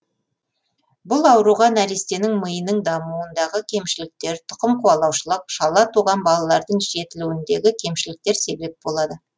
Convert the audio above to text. бұл ауруға нәрестенің миының дамуындағы кемшіліктер тұқым қуалаушылық шала туған балалардың жетілуіндегі кемшіліктер себеп болады